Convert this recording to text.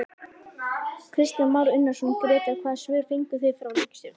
Kristján Már Unnarsson, Grétar hvaða svör fenguð þið frá ríkisstjórninni?